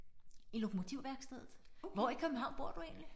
I Lokomotivværkstedet. Hvor i København bor du egentlig?